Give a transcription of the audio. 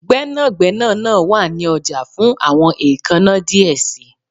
Gbẹnagbẹna naa wa ni ọja fun awọn eekanna diẹ sii